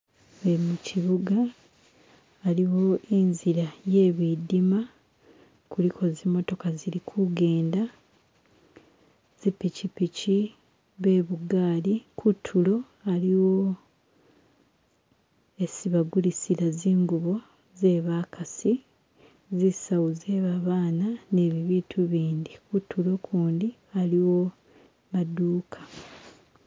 Shino kibuga aliwo inzila iye bidima kuliko zimotoka izili kujenda zipikipiki, bebugaali, kuntulo aliwo esi bagulisila zingubo ze bakasi, zisawo ze babana ni bibintu ibindi kuntulo kundi aliwo gamaduka.